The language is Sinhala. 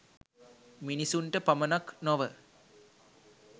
මිනිසුන්ට පමණක් නොව